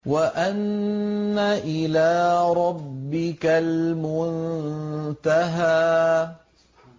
وَأَنَّ إِلَىٰ رَبِّكَ الْمُنتَهَىٰ